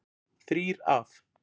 Þrír af